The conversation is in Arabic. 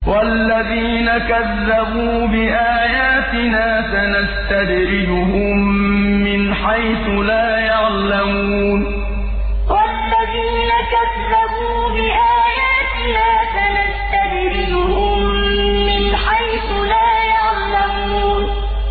وَالَّذِينَ كَذَّبُوا بِآيَاتِنَا سَنَسْتَدْرِجُهُم مِّنْ حَيْثُ لَا يَعْلَمُونَ وَالَّذِينَ كَذَّبُوا بِآيَاتِنَا سَنَسْتَدْرِجُهُم مِّنْ حَيْثُ لَا يَعْلَمُونَ